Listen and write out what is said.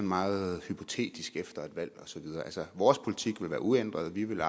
meget hypotetisk efter et valg og så videre altså vores politik vil være uændret vi vil